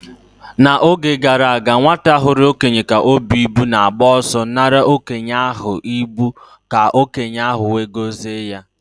N'oge gara aga, nwata hụrụ okenye ka o bu ibu na-agba ọsọ nara okenye ahụ ibu ka okenye ahụ wee gozie ya.